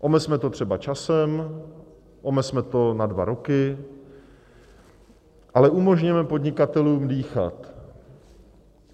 Omezme to třeba časem, omezme to na dva roky, ale umožněme podnikatelům dýchat.